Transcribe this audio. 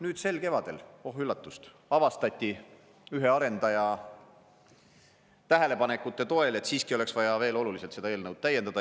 Nüüd sel kevadel, oh üllatust, avastati ühe arendaja tähelepanekute toel, et siiski oleks vaja veel oluliselt seda eelnõu täiendada.